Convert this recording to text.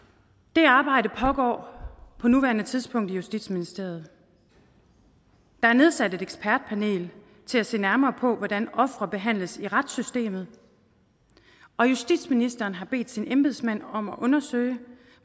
det arbejde pågår på nuværende tidspunkt i justitsministeriet der er nedsat et ekspertpanel til at se nærmere på hvordan ofre behandles i retssystemet og justitsministeren har bedt sine embedsmænd om at undersøge